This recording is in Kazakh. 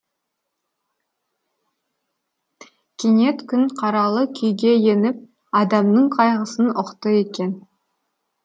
кенет күн қаралы күйге еніп адамның қайғысын ұқты екен